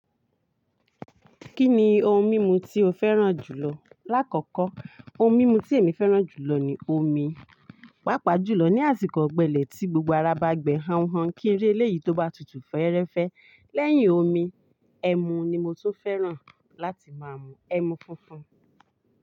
Kí ni ohun mímu tí o fẹ́ràn jùlọ? Láàkọ́kọ́, ohun mímu tí èmi fẹ́ràn jùlọ ni omi, pàápàá jùlọ ní àsìkò ọ̀gbẹlẹ̀ tí gbogbo ara bá gbe han han kí n ri eléyìí tó bá tutù fẹ́ẹ́rẹ́fẹ́. Lẹ́yìn omi, ẹmu ni mo tún fẹ́ràn láti má mú, ẹmu funfun.